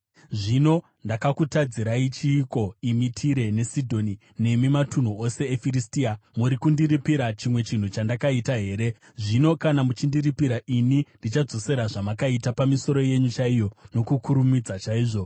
“Zvino ndakakutadzirai chiiko, imi Tire neSidhoni, nemi matunhu ose eFiristia? Muri kundiripira chimwe chinhu chandakaita here? Zvino kana muchindiripira, ini ndichadzosera zvamakaita pamisoro yenyu chaiyo nokukurumidza chaizvo.